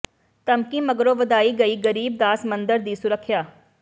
ਧਮਕੀ ਮਗਰੋਂ ਵਧਾਈ ਗਈ ਗਰੀਬ ਦਾਸ ਮੰਦਰ ਦੀ ਸੁਰੱਖਿਆ